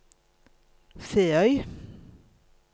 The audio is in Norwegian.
Feøy